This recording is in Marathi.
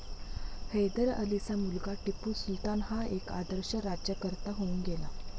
हैदर अलीचा मुलगा टिपू सुलतान हा एक आदर्श राज्यकर्ता होऊन गेला.